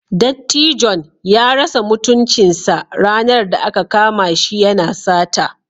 Dattijon ya rasa mutuncinsa ranar da aka kama shi yana sata.